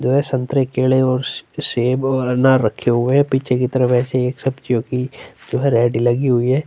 दो संतरे केले और से सेव और अनार रखे हुए है पीछे की तरफ ऐसी एक सब्जियों की लगी हुई है।